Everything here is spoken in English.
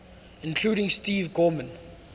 including steve gorman